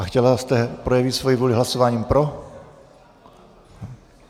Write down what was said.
A chtěla jste projevit svoji vůli hlasováním pro?